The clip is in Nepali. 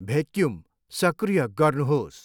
भेक्युम सक्रिय गर्नुहोस्।